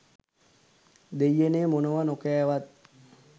දෙයියනේ මොනව නොකෑවත්